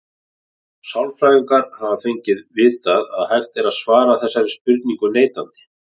Sálfræðingar hafa lengið vitað að hægt er að svara þessari spurningu neitandi.